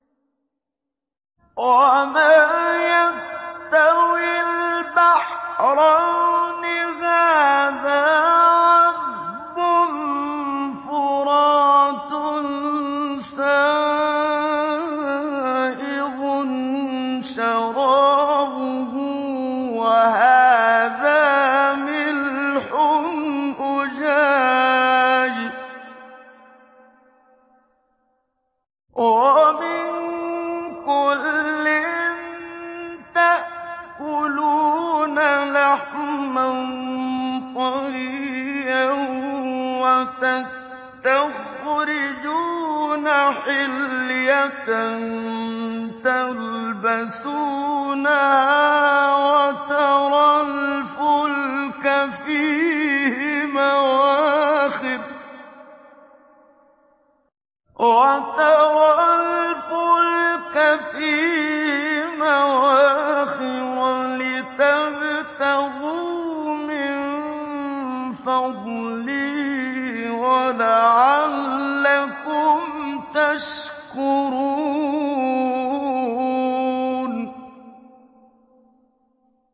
وَمَا يَسْتَوِي الْبَحْرَانِ هَٰذَا عَذْبٌ فُرَاتٌ سَائِغٌ شَرَابُهُ وَهَٰذَا مِلْحٌ أُجَاجٌ ۖ وَمِن كُلٍّ تَأْكُلُونَ لَحْمًا طَرِيًّا وَتَسْتَخْرِجُونَ حِلْيَةً تَلْبَسُونَهَا ۖ وَتَرَى الْفُلْكَ فِيهِ مَوَاخِرَ لِتَبْتَغُوا مِن فَضْلِهِ وَلَعَلَّكُمْ تَشْكُرُونَ